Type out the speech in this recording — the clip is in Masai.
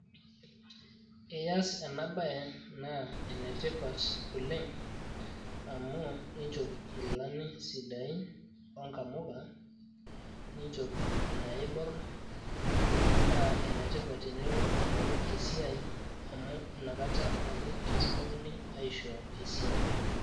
iyas ena baye naa enetipat oleng amu inchop nkilani sidain onkamuka ninchop inaaiborr naa enetipat tenilo aing`oru esiai amu inakata ake kitumokini aishoo esiai.